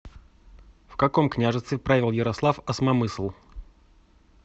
в каком княжестве правил ярослав осмомысл